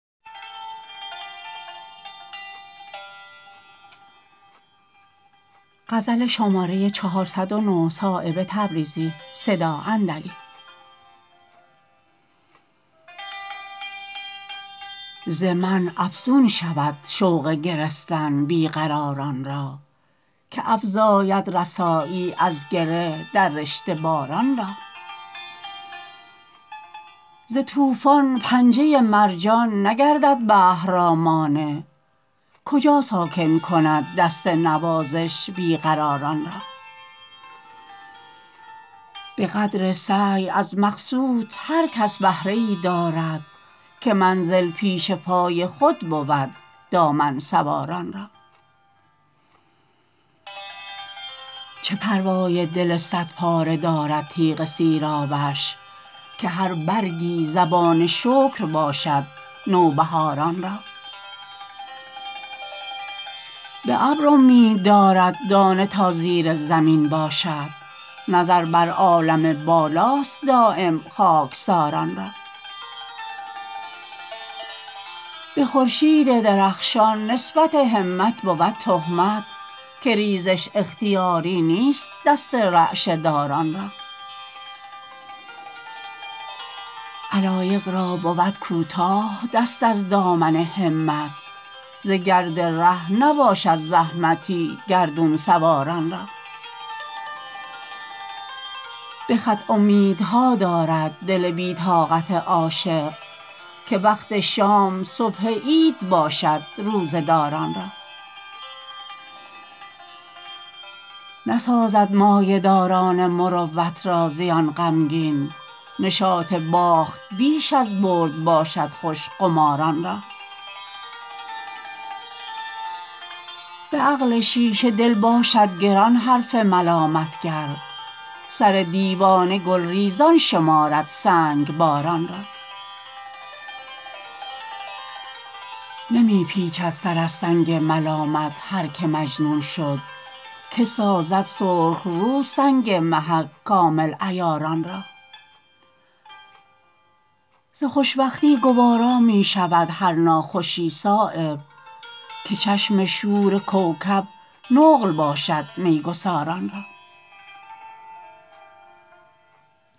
ز منع افزون شود شوق گرستن بی قراران را که افزاید رسایی از گره در رشته باران را ز طوفان پنجه مرجان نگردد بحر را مانع کجا ساکن کند دست نوازش بی قراران را به قدر سعی از مقصود هر کس بهره ای دارد که منزل پیش پای خود بود دامن سواران را چه پروای دل صد پاره دارد تیغ سیرابش که هر برگی زبان شکر باشد نوبهاران را به ابر امید دارد دانه تا زیر زمین باشد نظر بر عالم بالاست دایم خاکساران را به خورشید درخشان نسبت همت بود تهمت که ریزش اختیاری نیست دست رعشه داران را علایق را بود کوتاه دست از دامن همت ز گرد ره نباشد زحمتی گردون سواران را به خط امیدها دارد دل بی طاقت عاشق که وقت شام صبح عید باشد روزه داران را نسازد مایه داران مروت را زیان غمگین نشاط باخت بیش از برد باشد خوش قماران را به عقل شیشه دل باشد گران حرف ملامتگر سر دیوانه گلریزان شمارد سنگباران را نمی پیچد سر از سنگ ملامت هر که مجنون شد که سازد سرخ رو سنگ محک کامل عیاران را ز خوشوقتی گوارا می شود هر ناخوشی صایب که چشم شور کوکب نقل باشد میگساران را